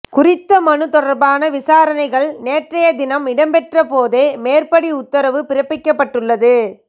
குறித்த மனு தொடர்பான விசாரணைகள் நேற்றையதினம் இடம்பெற்ற போதே மேற்படி உத்தரவு பிறப்பிக்கப்பட்டுள்ளது